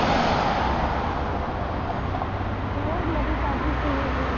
ਹੋਰ ਨਵੀਂ ਤਾਜ਼ੀ ਕੋਈ ਹੋਵੇ।